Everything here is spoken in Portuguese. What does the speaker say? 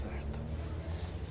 Está certo.